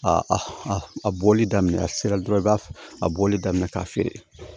A a a bɔli daminɛ a sera dɔrɔn i b'a a bɔli daminɛ k'a feere